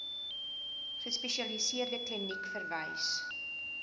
gespesialiseerde kliniek verwys